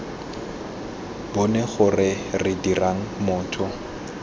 bone gore re dirang motho